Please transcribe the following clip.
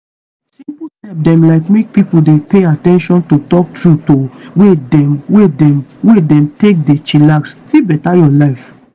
simple step dem like make pipo dey pay at ten tion to talk trueto way dem wey dem wey dem take dey chillax fit beta your life